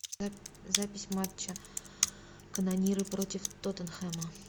запись матча канониры против тоттенхэма